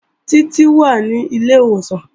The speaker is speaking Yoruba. Títí wà ní ilé ìwòsàn